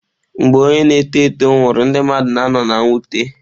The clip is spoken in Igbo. Mgbe onye na-eto eto nwụrụ, ndị mmadụ na-ano na mwute.